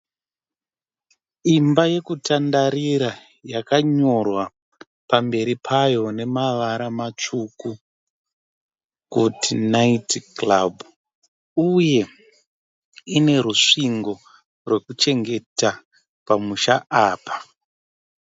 Imba yekutandarira yakanyorwa pamberi payo nemavara matsvuku kuti 'night club' uye ine rusvingo rwekuchengeta pamusha apa